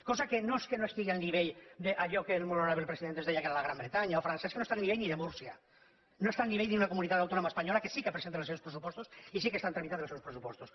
cosa que no és que no estigui al nivell d’allò que el molt honorable president ens deia que era la gran bretanya o frança és que no està al nivell ni de múrcia no està al nivell d’una comunitat autònoma espanyola que sí que presenta els seus pressupostos i sí que està tramitant els seus pressupostos